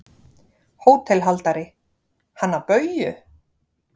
HÓTELHALDARI: Hana Bauju?